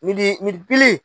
Misi midi pili